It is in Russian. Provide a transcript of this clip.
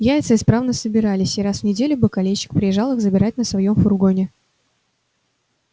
яйца исправно собирались и раз в неделю бакалейщик приезжал их забирать на своём фургоне